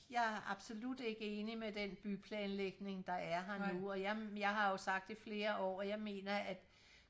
jeg er absolut ikke enig med den byplanlægning der er her nu og jeg jeg har jo sagt i flere år nu og jeg mener at